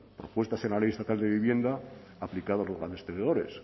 propuestas en la ley estatal de vivienda aplicada a los grandes tenedores